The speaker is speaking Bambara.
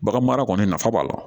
Bagan mara kɔni nafa b'a la